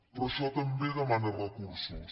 però això també demana recursos